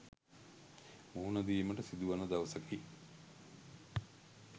මුහුණ දීමට සිදුවන දවසකි.